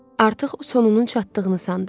Artıq sonunun çatdığını sandı.